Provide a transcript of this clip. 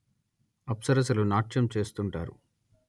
అప్సరసలు నాట్యం చేస్తుంటారు